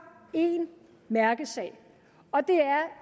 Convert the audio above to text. én mærkesag og det